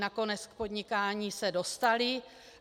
Nakonec k podnikání se dostaly.